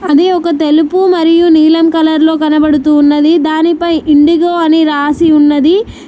ఇది ఒక తెలుపు మరియు నీలం కలర్లో కనపడుతూ ఉన్నది దానిపై ఇండిగో ని రాసి ఉన్నది.